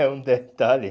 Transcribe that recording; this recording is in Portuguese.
É um detalhe.